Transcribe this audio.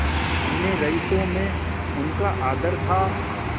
अन्य रईसों में उनका आदर था